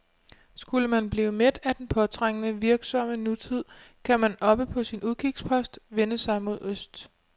Skulle man blive mæt af den påtrængende, virksomme nutid, kan man oppe på sin udkigspost vende sig mod øst.